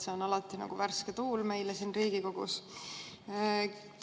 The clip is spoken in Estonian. Selline jutt on alati värske tuul meile siin Riigikogus.